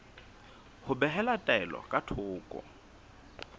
ho behela taelo ka thoko